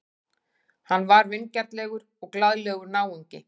Hann var vingjarnlegur og glaðlegur náungi.